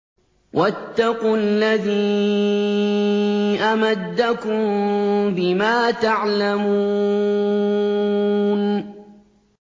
وَاتَّقُوا الَّذِي أَمَدَّكُم بِمَا تَعْلَمُونَ